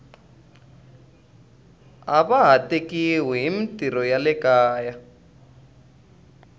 ava ha tekiwi himitirho ya le kaya